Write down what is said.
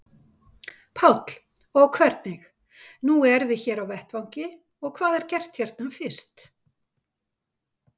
Páll: Og hvernig, nú erum við hér á vettvangi, hvað er gert hérna fyrst?